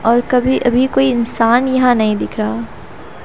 और कभी अभी कोई इंसान यहां नहीं दिख रहा--